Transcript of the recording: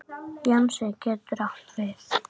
Jónsi getur átt við